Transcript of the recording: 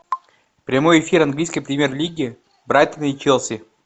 прямой эфир английской премьер лиги брайтона и челси